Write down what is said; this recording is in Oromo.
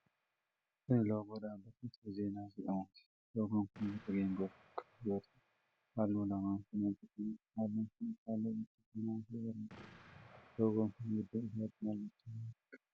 Kun loogoo dhaabbata 'Ithiyoo Zeenaa' jedhamuuti. loogoon kun boca geengoo kan qabu yoo ta'u, halluu lamaan kan hojjatameedha. Halluuwwan kunis halluu burtukaanawaa fi gurraachadha. Loogoon kun gidduu isaatti mallattoo maalii qaba?